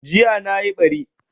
Jiya nayi ɓari